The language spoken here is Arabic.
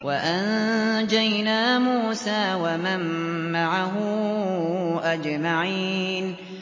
وَأَنجَيْنَا مُوسَىٰ وَمَن مَّعَهُ أَجْمَعِينَ